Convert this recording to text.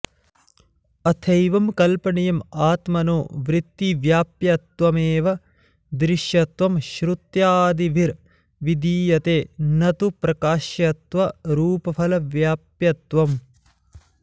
अथैवं कल्पनीयं आत्मनो वृत्तिव्याप्यत्वमेव दृश्यत्वं श्रुत्यादिभिर्विधीयते न तु प्रकाश्यत्वरूपफलव्याप्यत्वम्